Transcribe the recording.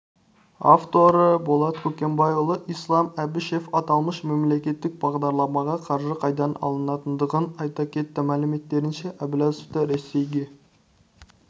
авторы болат көкенайұлы ислам әбішев аталмыш мемлекеттік бағдарламаға қаржы қайдан алынатындығын айта кетті мәліметтерінше әбләзовты ресейге